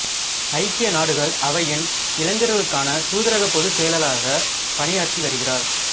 ஐக்கிய நாடுகள் அவையின் இளைஞர்களுக்கான தூதரக பொதுச்செயலாளராக பணியாற்றி வருகிறார்